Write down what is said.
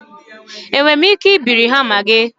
Enwere m ike ibiri hama gị?